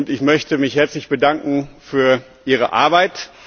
Ich möchte mich herzlich bedanken für ihre Arbeit.